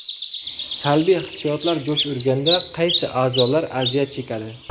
Salbiy hissiyotlar jo‘sh urganda qaysi a’zolar aziyat chekadi?